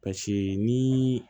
Paseke ni